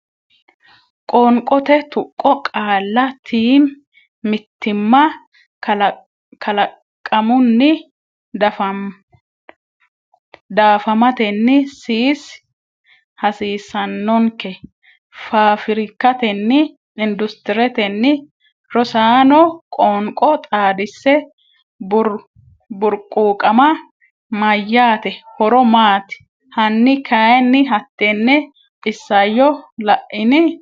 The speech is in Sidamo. Qoonqote Tuqqo Qaalla tiim mitiimma kalaqamunni daafamatenni siis hasiisannonke faafirikkatenni industiretenni Rosaano qoonqo xaadisse Burquuqama” mayyaate? horo maati? Hanni kayinni hattenne isayyo Laini?